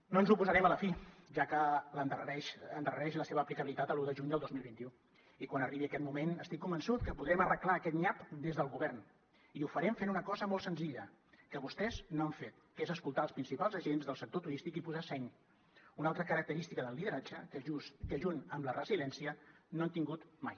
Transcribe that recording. no ens hi oposarem a la fi ja que endarrereix la seva aplicabilitat a l’un de juny del dos mil vint u i quan arribi aquest moment estic convençut que podrem arreglar aquest nyap des del govern i ho farem fent una cosa molt senzilla que vostès no han fet que és escoltar els principals agents del sector turístic i posar seny una altra característica del lideratge que junt amb la resiliència no han tingut mai